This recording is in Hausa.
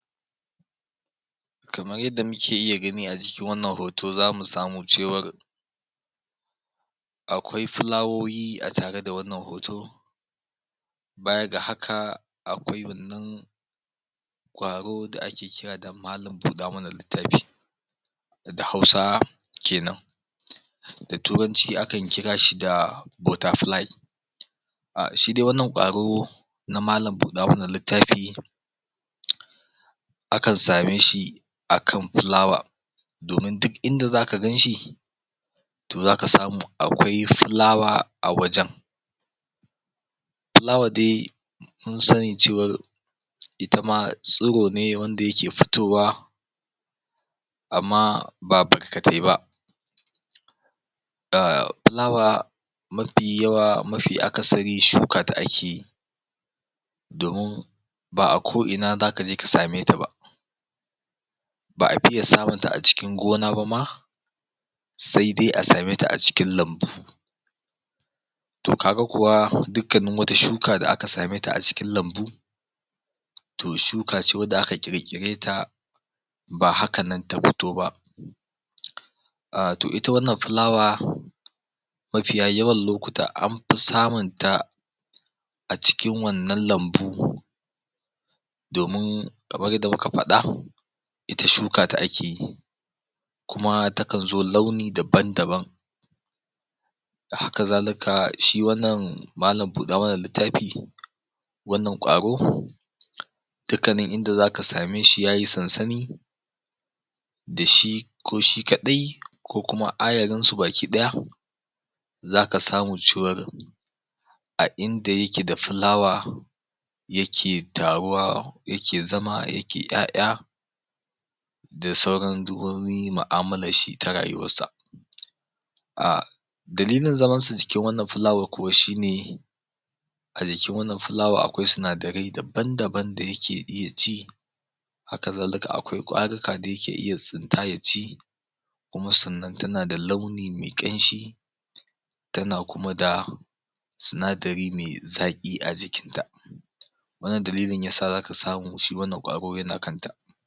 Kamar yadda muke iya gani a cikin wannan hoto za mu samu cewar akwai fulawoyi a tare da wannan hoto baya ga haka akwai wannan ƙwaro da ake kira malam buda mana littafi, da hausawa kenan. Da turanci akan kira shi da butter fly, A shi dai wannan ƙwaro, na malam buɗa mana littafi, akan same shi akan fulawa, domin duk ida za ka ganshi, zaka samu akwai fulawa a wajen. Fulawa dai mun sani cewar itama tsiro ne wanda yake fitowa, amma ba barkatai ba. Ahh fulawa mafi yawa, mafi akasari shuka ake, domin ba'a ko'ina za ka je ka same ta ba, ba a fiye samun ta a cikin gona ba ma, sai dai a same ta a cikin lambu. To ka ga kuwa dukkanin wata shuka da aka same ta a cikin lambu, to shuka ce wadda aka ƙirƙireta ba hakanan ta fito ba. Ah to ita wannan fulawa, mafiya yawan lokuta dai anfi samunta a cikin wannan lambu ko, domin kamar yadda muka faɗa, ita shuka ake yi, kuma ta kan zo launi daban-daban. A hakazalika, shi wannan malam buɗa mana littafi, wannan ƙwaro dukannin inda zaka same shi yayi sansani, da shi ko shi kaɗai ko kuma ayarinsu baki ɗaya, za ka samu cewar a inda yake da fulawa yake taruwa, yake zama, yake 'ya'ya, da saurin uzurorin mu'amullar shi ta rayuwarsa. Ahhhh dalilin zamansa cikin wannan fulawa kuwa shine, a jikin wannan fulawa kuwa akwai sinadarai daban-daban da yake ci, akazalika akwai ƙwarika da yake tsinta ya ci, kuma sannan tana da launin me ƙanshi, tana kuma da sinadari me zaƙi a jikinta. wannan dalilin ya sa za ka samu ƙwaron ya na zama a kanta.